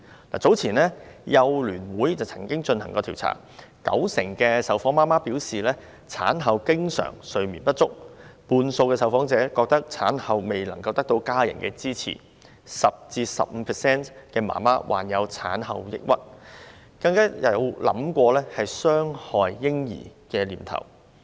香港幼兒教育及服務聯會早前曾進行調查，九成受訪母親表示，產後經常睡眠不足，半數受訪者認為產後未能得到家人支持 ；10% 至 15% 的母親患有產後抑鬱症，更曾出現傷害嬰兒的念頭。